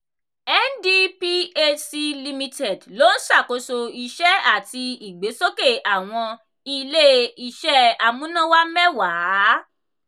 ndphc limited ló ń ṣàkóso iṣẹ́ àti ìgbésókè awọn ilé-iṣẹ́ amúnáwá mẹ́wàá.